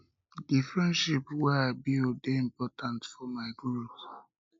di friendships wey i build dey important for my growth